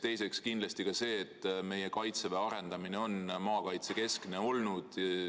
Teiseks kindlasti ka see, et meie Kaitseväe arendamine on olnud maakaitsekeskne.